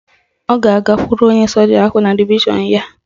Ọ ga-agakwuru onye soja ahụ na divishọn ya